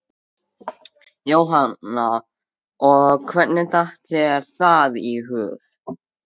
Jóhanna: Og hvernig datt þér það í hug?